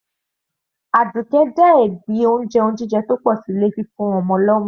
Àdùkẹ́ gbé ẹ̀bi lé fúnfún ọmọ lọ́mú.